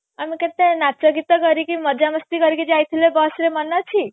ଆମେ କେତେ ନାଚ ଗୀତ କରିକି ମଜା ମସ୍ତି କରିକି ଯାଇଥିଲେ bus ରେ ମନେ ଅଛି